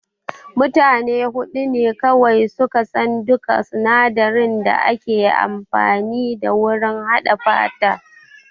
Mutane huɗu ne kawai suka san duka sinadarin da ake amfani da wurin haɗa fanta